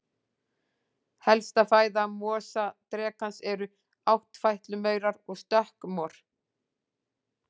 Helsta fæða mosadrekans eru áttfætlumaurar og stökkmor.